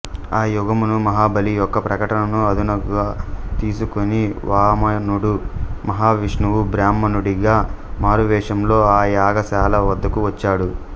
ఆ యాగమును మహాబలి యొక్క ప్రకటనను అదునుగా తీసుకుని వామనుడు మహావిష్ణువు బ్రాహ్మణుడిగా మారువేషంలో ఆ యాగశాల వద్దకు వచ్చాడు